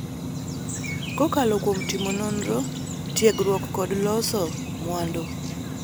kokalo kuom timo nonro, tiegruok kod loso mwandu,